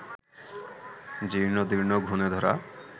জীর্ণদীর্ণ, ঘুণেধরা